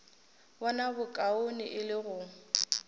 bona bokaone e le go